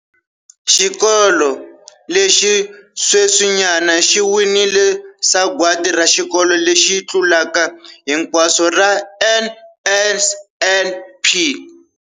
Xikolo lexi sweswinyana xi winile Sagwadi ra Xikolo lexi Tlulaka Hinkwaswo ra NSNP.